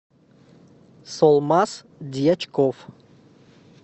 солмаз дьячков